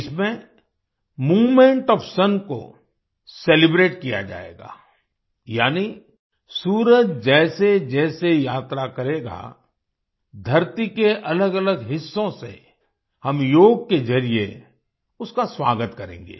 इसमें movement of sun को celebrate किया जाएगा यानी सूरज जैसेजैसे यात्रा करेगा धरती के अलगअलग हिस्सों से हम योग के जरिये उसका स्वागत करेंगे